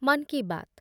Mann Ki Baat